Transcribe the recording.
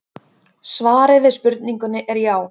Svarið við spurningunni er já.